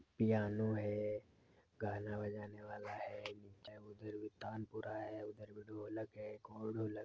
piano है गाना बजाने वाला है उधर भी तानपूरा है उधर भी ढोलक है एक और ढोलक--